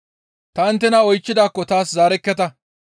Ta inttena oychchidaakko taas zaarekketa.